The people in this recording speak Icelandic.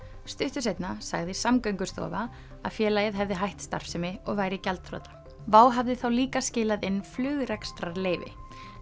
stuttu seinna sagði Samgöngustofa að félagið hefði hætt starfsemi og væri gjaldþrota WOW hafði þá líka skilað inn flugrekstrarleyfi